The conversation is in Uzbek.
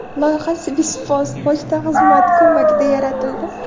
Loyiha Swisspost pochta xizmati ko‘magida yaratildi.